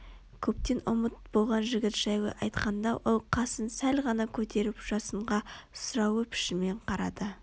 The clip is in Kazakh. көптен ұмыт болған жігіт жайлы айтқанда ол қасын сәл ғана көтеріп жасынға сұраулы пішінмен қарады